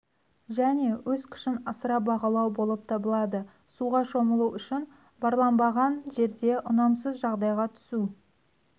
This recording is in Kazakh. және өз күшін асыра бағалау болып табылады суға шомылу үшін барланбаған жерде ұнамсыз жағдайға түсу